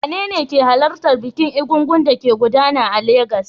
Wanene ke halartar bikin Egúngún da ke gudana a Legas?